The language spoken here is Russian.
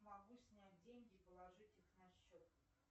могу снять деньги и положить их на счет